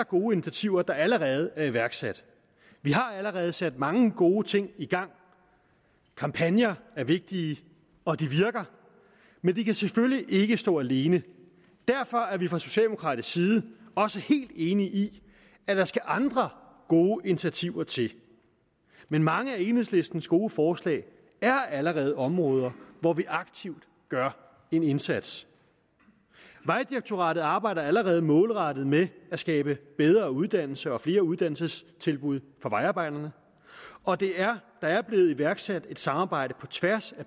gode initiativer der allerede er iværksat vi har allerede sat mange gode ting i gang kampagner er vigtige og de virker men de kan selvfølgelig ikke stå alene derfor er vi fra socialdemokratisk side også helt enige i at der skal andre gode initiativer til men mange af enhedslistens gode forslag er allerede områder hvor vi aktivt gør en indsats vejdirektoratet arbejder allerede målrettet med at skabe bedre uddannelse og flere uddannelsestilbud for vejarbejderne og der er blevet iværksat et samarbejde på tværs